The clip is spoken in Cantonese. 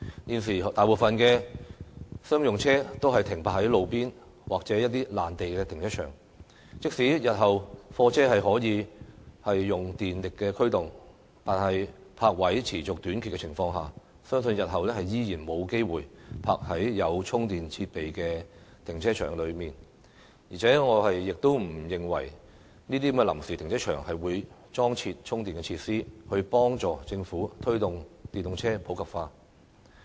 現時大部分商用車也停泊在路邊或一些臨時停車場，即使日後貨車可以用電力驅動，但在泊位持續短缺的情況下，相信日後依然沒有機會停泊在有充電設備的停車場；而且我亦不認為臨時停車場會裝設充電設施，協助政府推動電動車普及化。